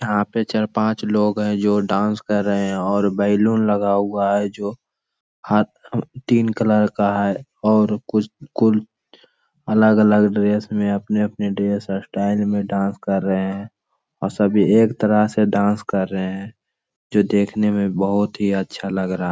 यहाँ पे चार पांच लोग है जो डांस कर रहे है और बैलून लगा हुआ है जो तीन कलर का है और कुछ अलग-अलग ड्रेस में अपने-अपने ड्रेस और स्टाइल में डांस कर रहे है और सभी एक तरह से डांस कर रहे है। जो देखने में बहोत ही अच्छा लग रहा है।